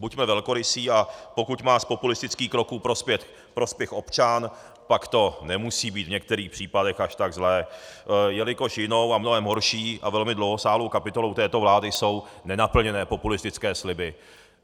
Buďme velkorysí, a pokud má z populistických kroků prospěch občan, pak to nemusí být v některých případech až tak zlé, jelikož jinou a mnohem horší a velmi dlouhosáhlou kapitolou této vlády jsou nenaplněné populistické sliby.